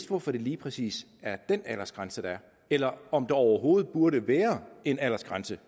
hvorfor der lige præcis er den aldersgrænse eller om der overhovedet burde være en aldersgrænse